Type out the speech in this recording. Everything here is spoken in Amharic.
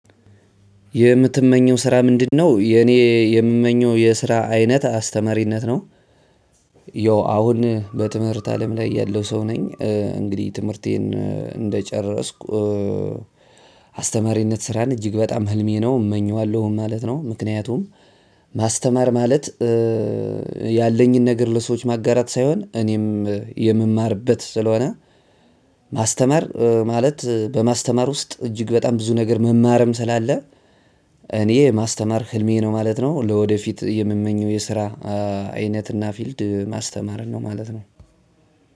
የምትመኘው ስራ ምንድነው? የኔ የምመኘው የስራ አይነት አስተማሪነት ነው። ያው አሁን በትምህርት አለም ላይ ያለው ሰው ነኝ እንግዲህ ትምህርቴን እንደጨረስኩ። አስተማሪነት ስራን እጅግ በጣም ህልሜ ነው እመኘዋለሁም ማለት ነው። ምክንያቱም ማስተማር ማለት ያለኝን ነገር ለሰዎች ማጋራት ሳይሆን እኔም የምማርበት ስለሆነ። ማስተማር ማለት በማስተማር ውስጥ እጅግ በጣም ብዙ ነገር መማርም ስላለ። እኔ የማስተማር ህልሜ ነው ማለት ነው። ለወደፊት የምመኘው የስራ አይነት እና ፊልድ ማስተማርን ነው ማለት ነው።